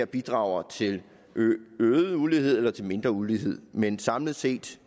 bidrager til øget ulighed eller mindre ulighed men samlet set